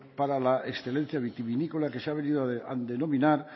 para la excelencia vitivinícola que se ha venido a denominar